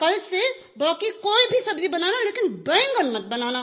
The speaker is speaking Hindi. कल से बाकी कोई भी सब्ज़ी बनाना लेकिन बैंगन मत बनाना